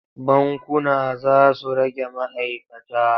Bankuna za su rage ma'aikata.